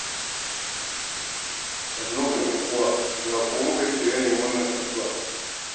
Sannunku ƴan'uwa; ya kuwa muka ji da yanayin wannan kasuwa?